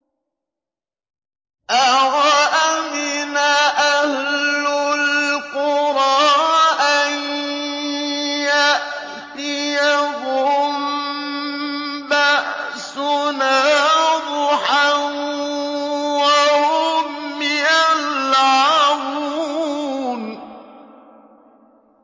أَوَأَمِنَ أَهْلُ الْقُرَىٰ أَن يَأْتِيَهُم بَأْسُنَا ضُحًى وَهُمْ يَلْعَبُونَ